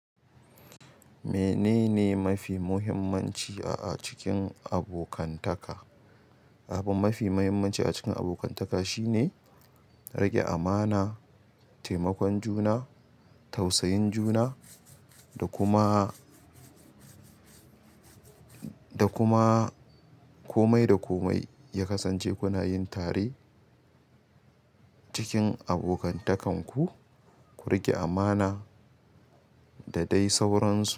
Menene ma fi muhimmanci a cikin abokantaka? Abu ma fi muhimmanci a cikin abokantaka shi ne riƙe amana, taimakon juna, tausayin juna da kuma, da kuma komai da komai ya kasance ku na yi tare cikin abokantakanku. Ku riƙe amana da dai sauransu.